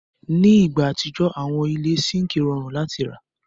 Ni igba atijọ, awọn ile síńkì rọrùn láti rà.